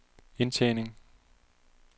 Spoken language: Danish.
indtjening